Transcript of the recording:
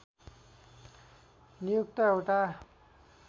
नियुक्त एउटा